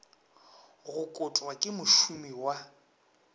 go kotwa ke mošomi wa